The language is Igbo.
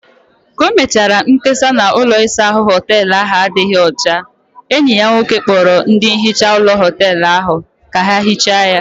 Ka o mechara mkpesa na ụlọ isa ahụ hoteelu ahụ adịghị ọcha, enyi ya nwoke kpọrọ ndị nhicha ụlọ hoteelu ahụ ka ha hichaa ya